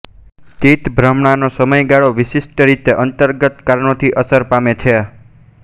ચિત્તભ્રમણાનો સમયગાળો વિશિષ્ટ રીતે અંતર્ગત કારણોથી અસર પામે છે